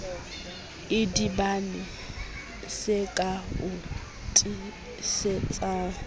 idibane se ka o tiisetsang